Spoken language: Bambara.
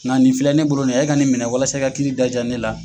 Nka nin filɛ ne bolo e ka nin minɛ walasa i ka kiiri da jaa ne la.